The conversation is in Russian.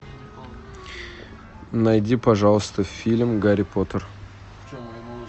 найди пожалуйста фильм гарри поттер